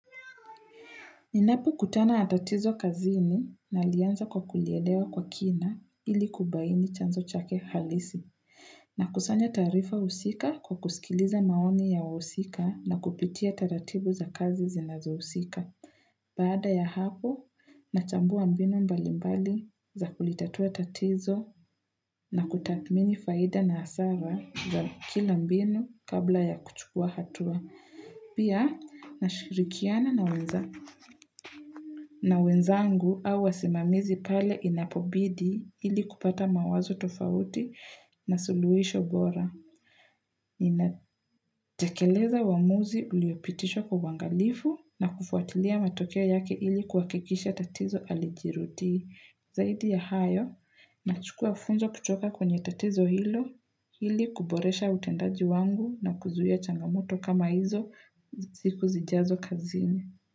Ninapo kutana na tatizo kazini nalianza kwa kulielewa kwa kina ilikubaini chanzo chake halisi. Nakusanya taarifa husika kwa kusikiliza maoni ya wahusika na kupitia taratibu za kazi zinazo husika. Baada ya hapo, nachambuwa mbinu mbali mbali za kulitatua tatizo na kutathmini faida na hasara za kila mbinu kabla ya kuchukua hatua. Pia, nashirikiana na wenzangu au wasimamizi pale inapobidi ili kupata mawazo tofauti na suluhisho bora. Inatekeleza uamuzi uliopitishwa kwa uangalifu na kufuatilia matokea yake ili kuhakikisha tatizo halijirudi. Zaidi ya hayo na chukua funzo kutoka kwenye tatizo hilo ilikuboresha utendaji wangu na kuzuia changamoto kama hizo siku zijazo kazini.